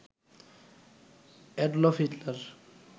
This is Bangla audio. Adolf Hitler